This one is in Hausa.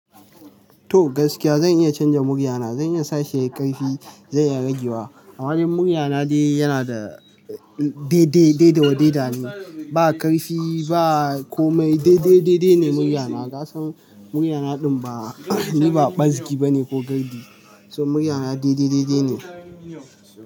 To gaskiya zan iya canza muryana. Zan iya sa shi yayi ƙarfi, zan iya rage wa. A wajen muryana dai yana da dai dai, dai da wadai dane. Ba ƙarfi ba kome, dai dai, dai dai ne muryana. Kasan muryana din ba, ni ba ɓazgi bane ko gardi. So muryana dai dai, dai dai ne.